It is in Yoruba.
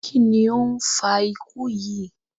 Kí ni ó ń fa ikú yí?